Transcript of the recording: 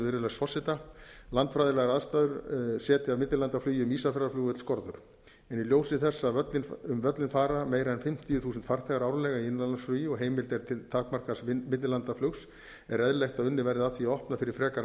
virðulegs forseta landfræðilegar aðstæður setja millilandaflugi um ísafjarðarflugvöll skorður en í ljósi þess að um völlinn fara meira en fimmtíu þúsund farþegar árlega í innanlandsflugi og heimild er til takmarkaðs millilandaflugs er eðlilegt að unnið verði að því að opna fyrir frekara millilandaflug